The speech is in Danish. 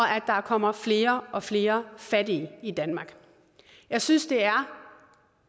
at der kommer flere og flere fattige i danmark jeg synes det er